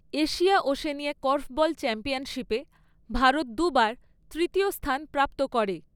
Asia Oceania korfball চ্যাম্পিয়নশিপে ভারত দুবার তৃতীয় স্থান প্রাপ্ত করে।